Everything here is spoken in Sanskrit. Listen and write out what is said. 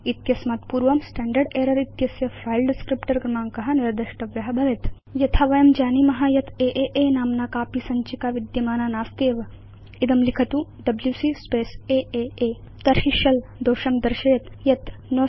वा इत्यस्मात् पूर्वं स्टैण्डर्ड् एरर् इत्यस्य फिले डिस्क्रिप्टर क्रमाङ्क निर्देष्टव्य भवेत् यथा वयं जानीम यत् आ नाम्ना कापि सञ्चिका विद्यमाना नास्त्येव इदं लिखतु डब्ल्यूसी स्पेस् आ तर्हि शेल दोषं दर्शयेत् यत् no such file or directory